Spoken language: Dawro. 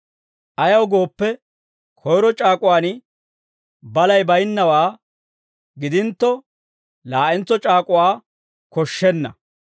Ayaw gooppe, koyro c'aak'uwaan balay baynnawaa gidintto, laa'entso c'aak'uwaa koshshenna.